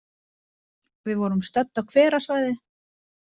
Við vorum stödd á hverasvæði.